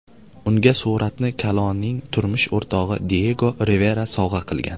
Unga suratni Kaloning turmush o‘rtog‘i Diyego Rivera sovg‘a qilgan.